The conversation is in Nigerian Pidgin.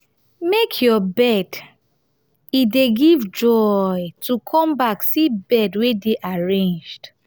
make your bed e dey give joy to come back see bed wey dey arranged